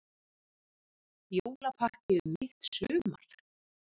Jólapakki um mitt sumar